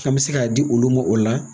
An mi se ka a di olu ma, o la